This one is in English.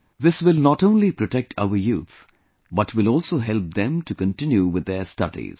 This will not only protect our youth but will also help them to continue with their studies